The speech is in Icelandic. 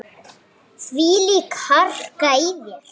Þvílík harka í þér.